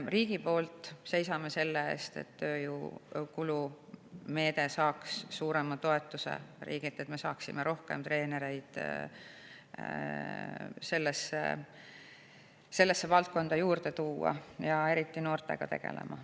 Me seisame selle eest, et tööjõukulumeede saaks riigilt suurema toetuse, nii et me saaksime rohkem treenereid sellesse valdkonda juurde tuua, eriti noortega tegelema.